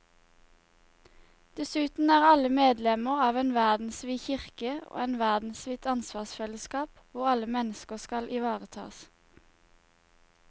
Dessuten er alle medlemmer av en verdensvid kirke og et verdensvidt ansvarsfellesskap hvor alle mennesker skal ivaretas.